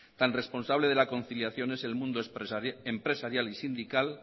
tan responsable de la conciliación es el mundo empresarial y sindical